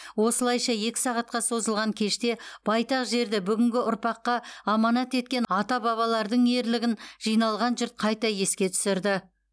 осылайша екі сағатқа созылған кеште байтақ жерді бүгінгі ұрпаққа аманат еткен ата бабалардың ерлігін жиналған жұрт қайта еске түсірді